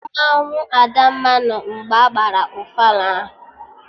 Mmanwụ Adamma nọ mgbe agbara ofala ahụ